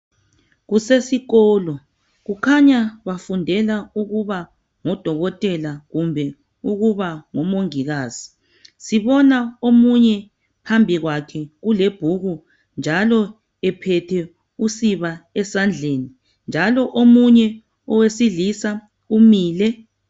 Kusesikolo kukhanya bafundela ukuba ngodokotela kumbe ukuba ngo Mongikazi sibona omunye phambi kwakhe kule bhuku njalo ephethe usiba esandleni njalo omunye owesilisa umile.